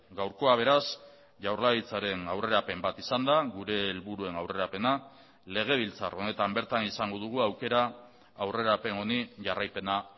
gaurkoa beraz jaurlaritzaren aurrerapen bat izan da gure helburuen aurrerapena legebiltzar honetan bertan izango dugu aukera aurrerapen honi jarraipena